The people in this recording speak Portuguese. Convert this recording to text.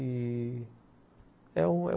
E é um é um